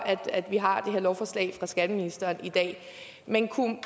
at vi har det her lovforslag fra skatteministeren i dag men